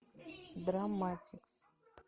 драмматикс